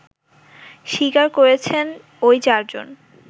স্বীকার করেছেন ওই চারজন